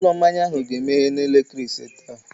Ụlọ mmanya ahụ ga-emeghe n'elekere ise taa.